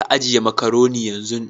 ka ajiye makaroni yanzun.